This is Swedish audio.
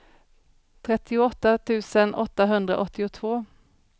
trettioåtta tusen åttahundraåttiotvå